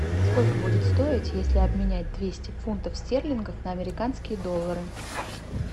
сколько будет стоить если обменять двести фунтов стерлингов на американские доллары